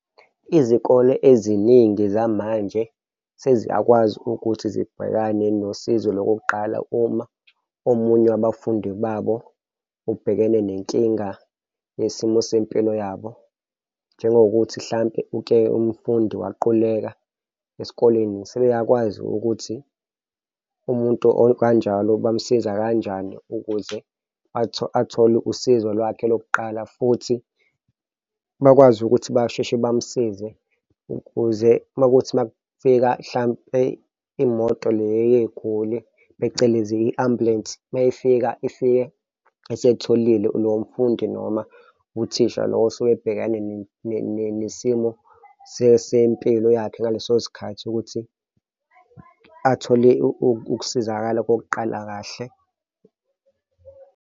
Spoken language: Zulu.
Izikole eziningi zamanje seziyakwazi ukuthi zibhekane nosizo lokuqala uma omunye wabafundi babo ubhekene nenkinga yesimo sempilo yabo njengokuthi mhlampe uke umfundi waquleka esikoleni sebeyakwazi ukuthi umuntu okanjalo bamsize kanjani ukuze athole usizo lwakhe lokuqala futhi bakwazi ukuthi basheshe bamsize ukuze makuwukuthi makufika hlampe imoto le uyey'guli, phecelezi i-ambulensi meyifika ifike eselitholile nomfundi noma uthisha lo osuke ebhekane nesimo sempilo yakhe ngaleso sikhathi, ukuthi athole ukusizakala kokuqala kahle.